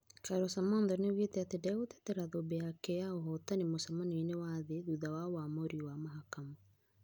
Carol Samantha nĩaugete atĩ nĩ ndagũtetera thũmbĩ yake ya ũhootani mũcamanioinĩ wa thĩ thutha wa ũamũũri wa mahakama.